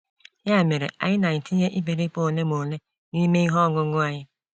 Ya mere, anyị na-etinye iperipe olemole n'ime ihe ọñuñu anyị.